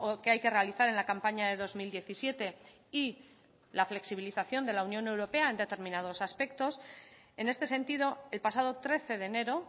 que hay que realizar en la campaña de dos mil diecisiete y la flexibilización de la unión europea en determinados aspectos en este sentido el pasado trece de enero